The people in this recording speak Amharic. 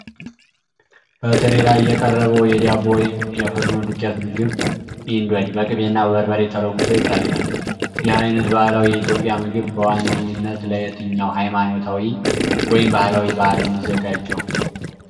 በትሪ ላይ የቀረበው የዳቦ ወይም የፍርኖ ዱቄት ምግብ (ኢንዶድ) በቅቤና በበርበሬ ተለውሶ ይታያል። ይህ አይነት ባህላዊ የኢትዮጵያ ምግብ በዋነኛነት ለየትኛው ሃይማኖታዊ ወይም ባህላዊ በዓል ነው የሚዘጋጀው?